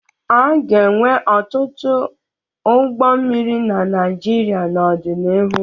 A ga-enwe ọtụtụ ọdụ ụgbọ mmiri na Naịjirịa n'ọdịnihu.